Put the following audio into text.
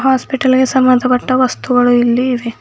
Hospital ಗೆ ಸಂಬಂಧಪಟ್ಟ ವಸ್ತುಗಳು ಇಲ್ಲಿ ಇವೆ.